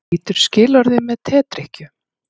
Brýtur skilorðið með tedrykkju